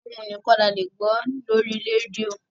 Ohùn nìkan ni a lè gbọ́ lórí rédíò.